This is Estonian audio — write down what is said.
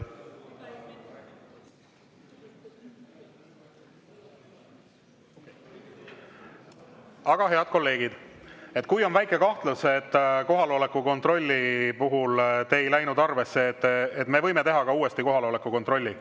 Aga, head kolleegid, kui on väike kahtlus, et kohaloleku kontrolli puhul te ei läinud arvesse, siis me võime teha ka uuesti kohaloleku kontrolli.